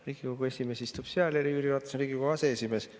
Riigikogu esimees istub seal ja Jüri Ratas on Riigikogu aseesimees.